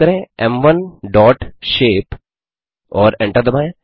type करें m1शेप और एंटर दबाएँ